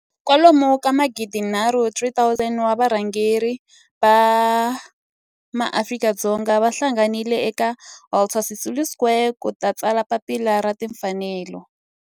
kwalomu ka magidi nharhu 3 000 wa varhangeri va maAfrika-Dzonga va hlanganile eka Walter Sisulu Square ku ta tsala Papila ra Tinfanelo.